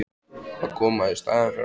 Að koma í staðinn fyrir hann?